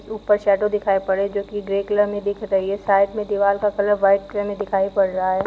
ऊपर शैडो दिखाई पड़ रहा है जोकी ग्रे कलर में दिख रही है। साइड में दीवार का कलर व्हाइट कलर में दिखाई पड़ रहा है।